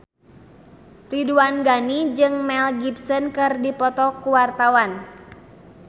Ridwan Ghani jeung Mel Gibson keur dipoto ku wartawan